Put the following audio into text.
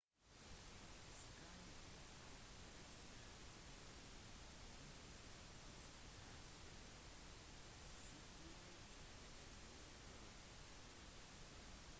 skyene gav potensiell forvirring om det faktisk hadde skjedd et utbrudd